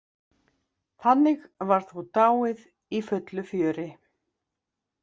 Þannig var þó dáið í fullu fjöri.